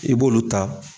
I b'olu ta